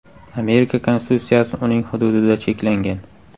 Amerika Konstitutsiyasi uning hududida cheklangan.